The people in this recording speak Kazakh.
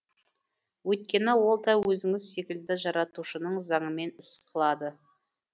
өйткені ол да өзіңіз секілді жаратушының заңымен іс қылады